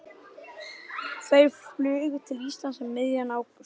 Þau flugu til Íslands um miðjan ágúst.